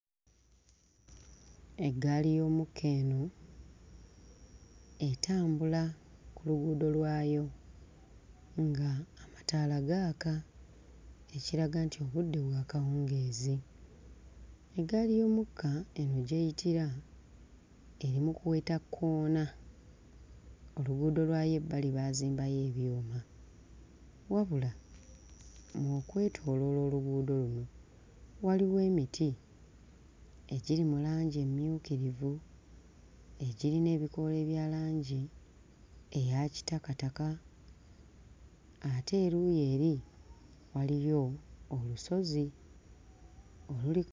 Eggaali y'omukka eno etambula ku luguudo lwayo ng'amataala gaaka ekiraga nti obudde bwa kawungeezi, eggaali y'omukka eno gy'eyitira eri mu kuweta kkoona oluguudo lwayo ebbali baazimbayo ebyuma wabula ng'okwetooloola oluguudo luno waliwo emiti egiri mu langi emmyukkirivu egirina ebikoola ebya langi eya kitakataka ate eruuyi eri waliyo olusozi oluli...